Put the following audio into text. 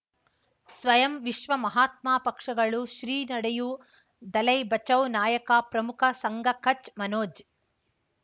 ಸ್ವಯಂ ವಿಶ್ವ ಮಹಾತ್ಮ ಪಕ್ಷಗಳು ಶ್ರೀ ನಡೆಯೂ ದಲೈ ಬಚೌ ನಾಯಕ ಪ್ರಮುಖ ಸಂಘ ಕಚ್ ಮನೋಜ್